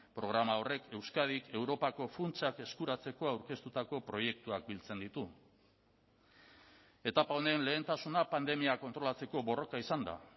programa horrek euskadik europako funtsak eskuratzeko aurkeztutako proiektuak biltzen ditu etapa honen lehentasuna pandemia kontrolatzeko borroka izan da